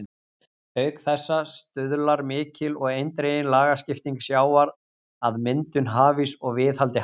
Auk þessa stuðlar mikil og eindregin lagskipting sjávar að myndun hafíss og viðhaldi hans.